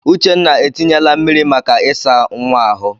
Uchenna etinyela mmiri maka ịsa nwa ahụ.